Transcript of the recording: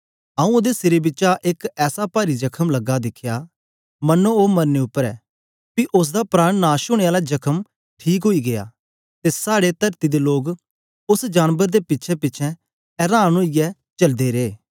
आऊँ ओदे सिरें बिचा एक ऐसा पारी जखम लगा दिखया मनो ओ मरने उपर ऐ पी उस्स दा प्राण नाश ओनें आला जखम ठीक ओई गीया ते साड़े तरती दे लोग उस्स जानबर दे पिछेंपिछें एरान ओदे ओई चलदे रे